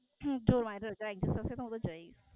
જો Viral થાય તો એક દિવસ જાયી